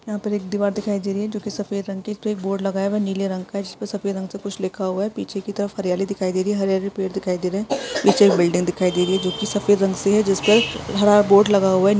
यहाँ पर एक दीवार दिखाई दे रही है जो की सफेद रंग की है उसपे एक बोर्ड लगा हुआ है नीले रंग का इसपे सफेद रंग से कुछ लिखा हुआ है पीछे के तरफ हरियाली दिखाई दे रही है हरे हरे पेड़ दिखाई दे रहे है पीछे एक बिल्डिंग दिखाई दे रही है जो की सफेद रंग से जिस पर बोर्ड लगा हुआ है।